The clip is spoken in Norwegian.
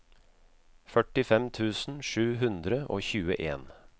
førtifem tusen sju hundre og tjueen